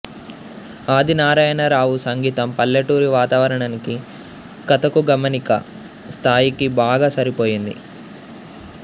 ఆదినారాయణరావు సంగీతం పల్లెటూరి వాతావరణానికీ కథకూ గమనానికీ స్థాయికీ బాగా సరిపోయింది